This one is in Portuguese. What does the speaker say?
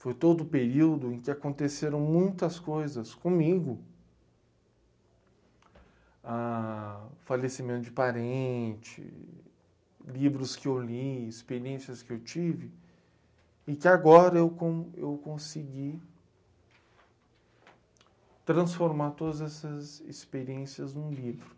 Foi todo o período em que aconteceram muitas coisas comigo... ah ... falecimento de parente, livros que eu li, experiências que eu tive, e que agora eu con, eu consegui transformar todas essas experiências num livro.